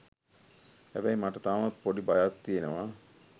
හැබැයි මට තාමත් පොඩි බයක් තියෙනව